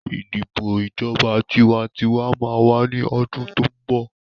Ìdìbò ìjọba tiwantiwa máa wà ní ọdún tó ń bọ̀